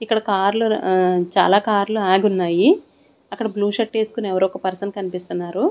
ఇక్కడ కార్లు ర ఆ చాలా కార్లు ఆగున్నాయి అక్కడ బ్లూ షర్ట్ ఏస్కొని ఎవరో ఒక పర్సన్ కన్పిస్తున్నారు.